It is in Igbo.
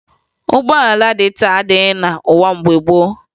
Ụgbọala dị taa adịghị n'ụwa mgbe gboo